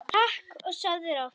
Takk og sofðu rótt.